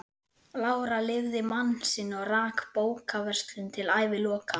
Lára lifði mann sinn og rak bókaverslun til æviloka.